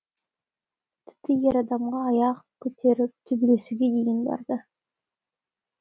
тіпті ер адамға аяқ көтеріп төбелесуге дейін барды